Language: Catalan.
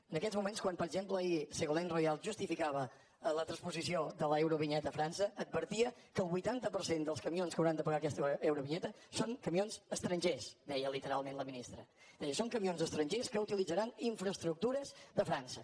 en aquests moments quan per exemple ahir ségolène royal justificava la transposició de l’eurovinyeta a frança advertia que el vuitanta per cent dels camions que hauran de pagar aquesta eurovinyeta són camions estrangers deia literalment la ministra deia són camions estrangers que utilitzaran infraestructures de frança